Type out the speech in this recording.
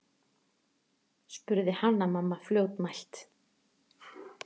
spurði Hanna-Mamma fljótmælt.